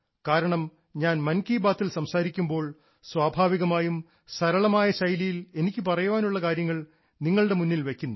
കാരണം ഞാൻ മൻ കി ബാത്ത് പറയുമ്പോൾ സ്വാഭാവികമായും സരളമായ ശൈലിയിൽ എനിക്ക് പറയാനുള്ള കാര്യങ്ങൾ നിങ്ങളുടെ മുന്നിൽ വെയ്ക്കുന്നു